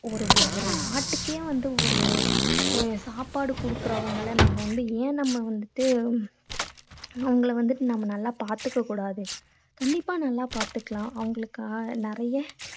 ஒரு ஒரு நாட்டுக்கே வந்து ஒரு சாப்பாடு அஹ் கொடுக்கறவங்களை ஏன் நம்ம வந்துட்டு அவங்களை வந்துட்டு நம்ம நல்லா பார்த்துக்க கூடாது. கண்டிப்பா நல்லா பார்த்துக்கலாம். அவங்களுக்கு ஆஹ் நிறைய